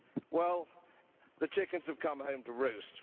Well, the chickens have come home to roost.